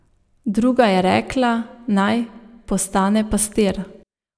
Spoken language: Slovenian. Druga je rekla, naj postane pastir.